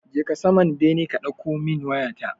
Je ka saman bene ka ɗauko min waya ta.